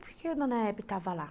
Por que a dona Hebe estava lá?